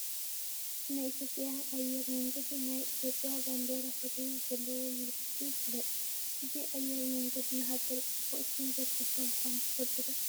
ናይ ኢትዮጵያ ኣየር መንገድ ናይ ኢትዮጵያ ባንዲራ ሕብሪ ብዘለዎ ምልክቱ ይፍለጥ፡፡ እዚ ኣየር መንገድ ንሃገር ፅቡቕ ሽም ዘትረፈ ምዃኑ ትፈልጡ ዶ?